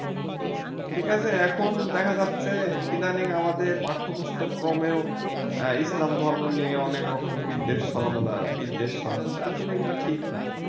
ঠিক আছে এখন দেখা যাচ্ছে ইদানিং আমাদের পাঠ্যপুস্তক্রমেও ইসলাম ধর্ম নিয়ে অনেক রকম বিদ্বেষ ছড়ানো বিদ্বেষ ছড়াচ্ছে আসলে এগুলো ঠিক না